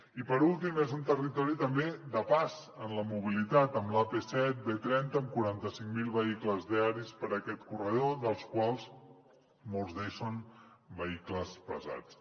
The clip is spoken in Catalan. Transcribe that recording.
i per últim és un territori també de pas en la mobilitat amb l’ap set b trenta amb quaranta cinc mil vehicles diaris per aquest corredor dels quals molts d’ells són vehicles pesants